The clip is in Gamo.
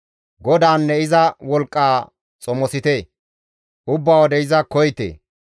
GODAANNE iza wolqqa xomosite; ubba wode iza koyite.